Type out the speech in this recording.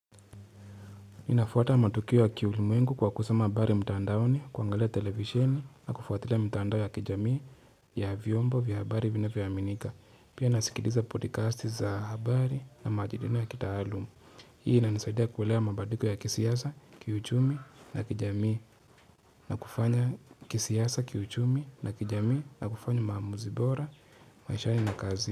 Ninafuata matukiwa wa kiulimwengu kwa kusoma habari mtandaoni, kuangalia televisheni na kufuatilia mitandao ya kijamii ya vyombo vya habari vinavyo aminika. Pia nasikiliza podcast za habari na majidina ya kitaalumu. Hii inanisaidia kuelewa mabadiliko ya kisiasa, kiuchumi na kijamii na kufanya kisiasa, kiuchumi na kijamii na kufanya maamuzi bora, maishani na kazini.